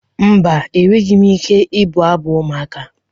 Mba, enweghị m ike ịbụ abụ ụmụaka